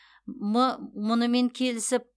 м мұнымен келісіп